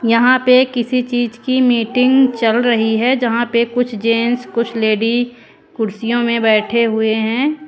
यहां पर किसी चीज की मीटिंग चल रही है जहां पे कुछ जेंट्स कुछ लेडि कुर्सियों में बैठे हुए हैं।